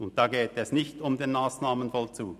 Insofern geht es nicht um den Massnahmenvollzug.